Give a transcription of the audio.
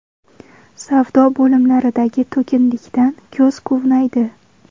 Savdo bo‘limlaridagi to‘kinlikdan ko‘z quvnaydi.